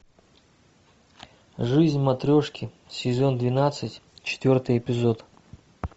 жизнь матрешки сезон двенадцать четвертый эпизод